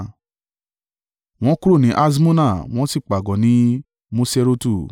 Wọ́n kúrò ní Haṣmona wọ́n sì pàgọ́ ní Moserotu.